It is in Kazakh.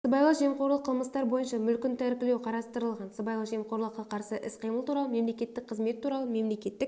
сыбайлас жемқорлық қылмыстар бойынша мүлкін тәркілеу қарастырылған сыбайлас жемқорлыққа қарсы іс-қимыл туралы мемлекеттік қызмет туралы мемлекеттік